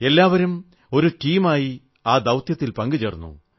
എല്ലാവരും ഒരു ടീമായി ആ ദൌത്യത്തിൽ പങ്കെടുത്തു